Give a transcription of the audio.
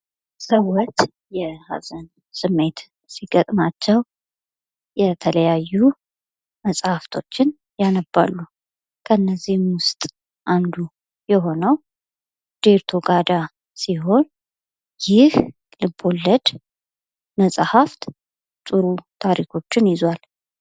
ሰዎች የሐዘን ስሜት ሲገጥማቸው የተለያዩ መሐፍቶችን ያነባሉ:: ከነዚህም ውስጥ አንዱ የሆነው ዴርቶ ጋዳ ሲሆን ይህ ልቦለድ መጸሐፍት ጥሩ ታሪኮችን ይዟል ::